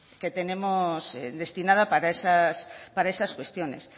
que tenemos destinada para esas cuestiones